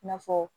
I n'a fɔ